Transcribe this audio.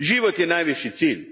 Život je najviši cilj.